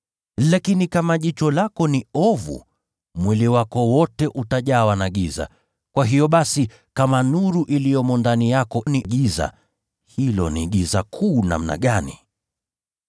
Lakini kama jicho lako ni ovu, mwili wako wote utajawa na giza. Kwa hiyo basi, kama nuru iliyomo ndani yako ni giza, hilo ni giza kuu namna gani!